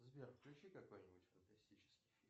сбер включи какой нибудь фантастический фильм